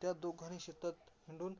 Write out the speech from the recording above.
त्या दोघांनी शेतात हिंडून